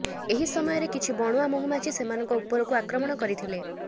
ଏହି ସମୟରେ କିଛି ବଣୁଆ ମହୁମାଛି ସେମାନଙ୍କ ଉପରକୁ ଆକ୍ରମଣ କରିଥିଲେ